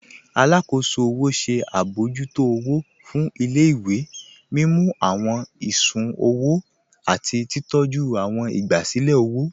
Àlàkóṣò ọwọ ṣẹ̀ abọ̀jútó ọwọ̀ fún ilẹ̀-ìwé, mímú awọn ìṣùn-ọwò àti titọ̀jú awọn ìgbàsílẹ̀ ọwọ.